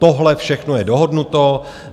Tohle všechno je dohodnuto.